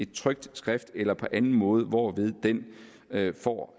trykt skrift eller på anden måde hvorved den altså får